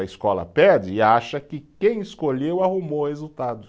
A escola pede e acha que quem escolheu arrumou o resultado.